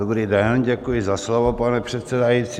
Dobrý den, děkuji za slovo, pane předsedající.